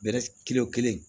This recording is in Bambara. kelen o kelen